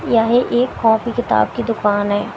यह एक कॉपी किताब की दुकान है।